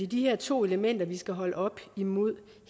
de her to elementer vi skal holde op mod